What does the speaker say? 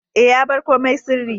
E, ya bar komai sirri.